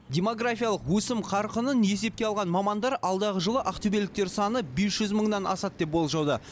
демографиялық өсім қарқынын есепке алған мамандар алдағы жылы ақтөбеліктер саны бес жүз мыңнан асады деп болжауда